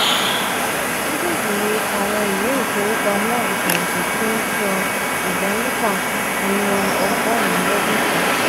mejeeji ni awọn iwe ifowopamọ ifẹhinti ti n san ida mefa ninu ogorun lodun kan.